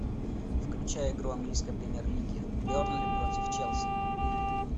включай игру английской премьер лиги бернли против челси